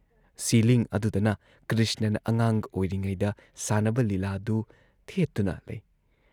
Ceiling ꯑꯗꯨꯗꯅ ꯀ꯭ꯔꯤꯁꯅꯅ ꯑꯉꯥꯡ ꯑꯣꯏꯔꯤꯉꯩꯗ, ꯁꯥꯟꯅꯕ ꯂꯤꯂꯥꯗꯨ ꯊꯦꯠꯇꯨꯅ ꯂꯩ ꯫